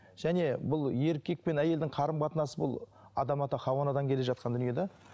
және бұл еркек пен әйелдің қарым қатынасы бұл адам ата хауа анадан келе жатқан дүние де